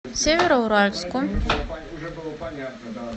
североуральску